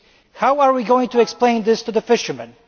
How are we going to explain this to the fishermen?